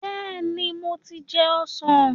Bẹ́ẹ̀ni, mo ti jẹun ọ̀sán.